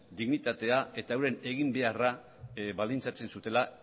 dignitatea eta euren eginbeharra baldintzatzen zutela